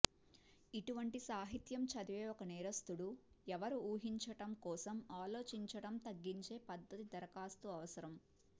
ఇటువంటి సాహిత్యం చదివే ఒక నేరస్థుడు ఎవరు ఊహించడం కోసం ఆలోచించడం తగ్గించే పద్ధతి దరఖాస్తు అవసరం